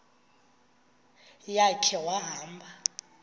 ya khe wahamba